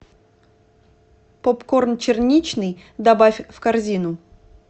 попкорн черничный добавь в корзину